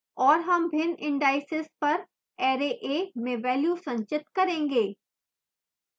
और हम भिन्न indices पर array a में values संचित करेंगे